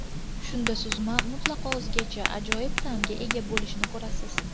Shunda suzma mutlaqo o‘zgacha, ajoyib ta’mga ega bo‘lishini ko‘rasiz.